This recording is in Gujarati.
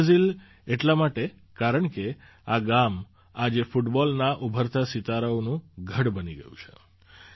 મિની બ્રાઝિલ એટલા માટે કારણકે આ ગામ આજે ફૂટબૉલના ઉભરતા સિતારાઓનું ગઢ બની ગયું છે